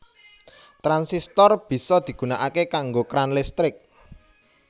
Transistor bisa digunakake kanggo kran listrik